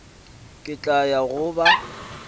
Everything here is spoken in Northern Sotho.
ke tla ya go ba